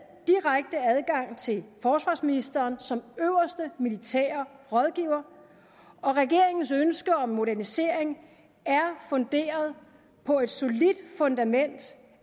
direkte adgang til forsvarsministeren som øverste militære rådgiver og regeringens ønsker om modernisering er funderet på et solidt fundament